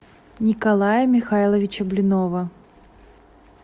николая михайловича блинова